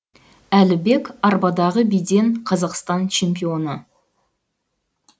әлібек арбадағы биден қазақстан чемпионы